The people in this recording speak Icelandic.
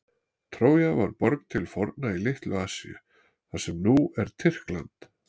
Trója var borg til forna í Litlu-Asíu, þar sem nú er Tyrkland.